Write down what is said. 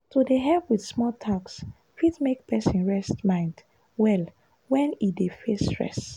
to dey help with small tasks fit make person rest mind well when e dey face stress.